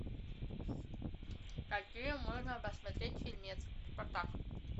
какие можно посмотреть фильмец спартак